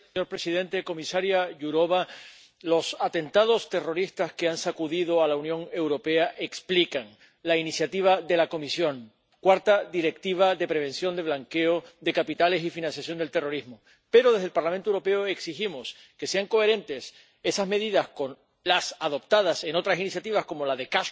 Señor presidente, comisaria Jourová, los atentados terroristas que han sacudido a la Unión Europea explican la iniciativa de la Comisión —cuarta Directiva de prevención del blanqueo de capitales y la financiación del terrorismo—. Pero desde el Parlamento Europeo exigimos que sean coherentes esas medidas con las adoptadas en otras iniciativas como la de